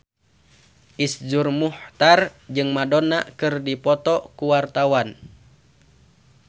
Iszur Muchtar jeung Madonna keur dipoto ku wartawan